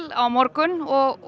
á morgun og